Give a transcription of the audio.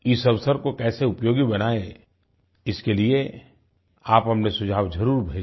इस अवसर को कैसे उपयोगी बनायें इसके लिये आप अपने सुझाव जरुर भेजें